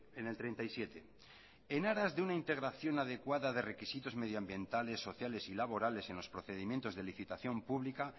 en el treinta y siete en aras de una integración adecuada de requisitos medio ambientales sociales y laborales en los procedimientos de licitación pública